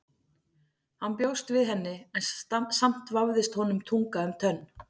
Hann bjóst við henni en samt vafðist honum tunga um tönn.